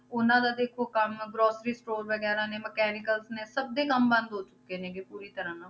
ਉਹਨਾਂ ਦਾ ਦੇਖੋ ਕੰਮ grocery store ਵਗ਼ੈਰਾ ਨੇ mechanicals ਨੇ ਸਭ ਦੇ ਕੰਮ ਬੰਦ ਹੋ ਚੁੱਕੇ ਨੇ ਗੇ ਪੂਰੀ ਤਰ੍ਹਾਂ ਨਾਲ।